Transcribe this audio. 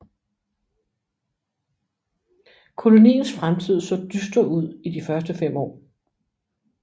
Koloniens fremtid så dyster ud i de første fem år